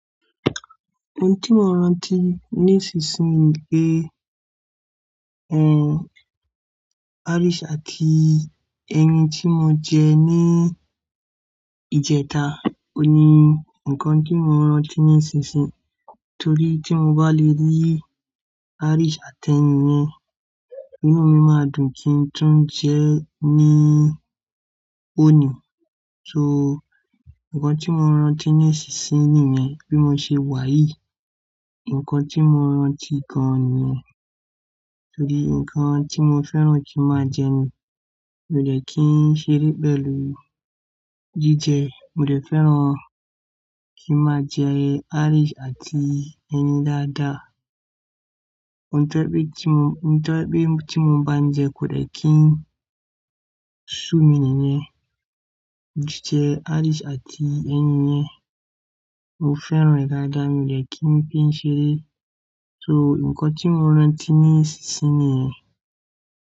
Òún tí mo rántí nísinsìnyí ni, arísì àti ẹyin tí mo jẹ ní ìjẹta. O ni nǹkan tí mo rántí nísinsìnyí torí tí mo bá le rí arísì àti ẹyin yẹn, inú mi máa dùn kí n tún jẹ́ ẹ́ ní òní. So nǹkan tí mo rántí nísinsìnyí nìyẹn. Bí mo ṣe wàyí, nǹkan tí mo rántí gan-an nìyẹn. Torí nǹkan tí mo fẹ́ràn kí máa jẹ ní, mi ò dẹ́ kí ń seré pẹlú jíjẹ rẹ. Mo dẹ́ fẹ́ràn kí máa jẹ arísì àti ẹyin dáadáa. Ohun tó jẹ pé tí mo, ohun tó jẹ pé tí mo ń bá ń jẹ kò dẹ́ kí ń sú mi nìyẹn. Jíjẹ arísì àti ẹyin yẹn, mo fẹ́ràn rẹ̀ dáadáa, mi ò dẹ́ kí ń píń ṣeré. So nǹkan tí mo rántí nísinsìnyí nìyẹn.